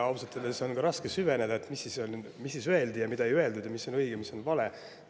Ausalt öeldes oli ka raske süveneda, et mis siis öeldi ja mida ei öeldud ja mis on õige ja mis vale.